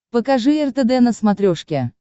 покажи ртд на смотрешке